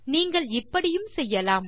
நீங்கள் இப்படியும் செய்யலாம்